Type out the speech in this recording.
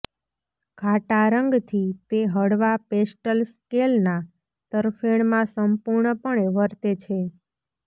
ઘાટા રંગથી તે હળવા પેસ્ટલ સ્કેલના તરફેણમાં સંપૂર્ણપણે વર્તે છે